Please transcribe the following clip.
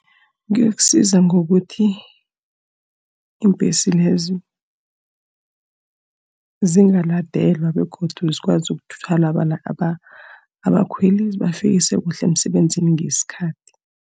Kuyokusiza ngokuthi iimbhesi lezo zingaladelwa, begodu zikwazi ukuthwala abakhweli zibafikise kuhle emsebenzini ngesikhathi.